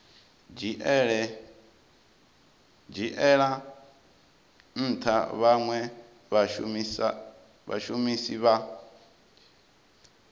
dzhiela ntha vhanwe vhashumisi vha